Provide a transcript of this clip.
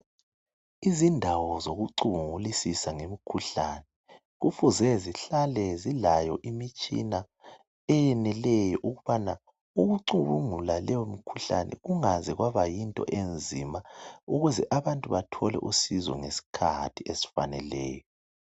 Izindawo zokucubungulisisa ngezemkhuhlane kufuze zihlale zilayo imitshina eyeneleyo ukubana ukucubungula leyo mkhuhlane kungabi yinto enzima ukuze abantu bathole usizo ngeskhathi esifaneleyo